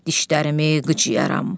Dişlərimi qıcıyaram.